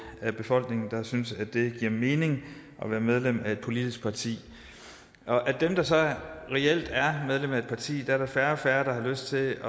af befolkningen der synes at det giver mening at være medlem af et politisk parti og af dem der så reelt er medlem af et parti er der færre og færre der har lyst til